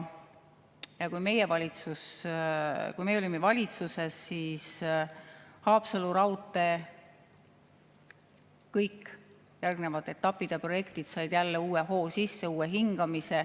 Ja kui meie olime valitsuses, siis Haapsalu raudtee kõik järgnevad etapid ja projektid said jälle uue hoo sisse, uue hingamise.